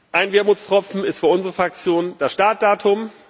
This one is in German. Ein Wermutstropfen ist für unsere Fraktion das Startdatum.